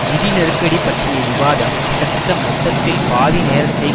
நிதி நெருக்கடி பற்றிய விவாதம் கிட்டத்தட்ட மொத்தத்தில் பாதி நேரத்தை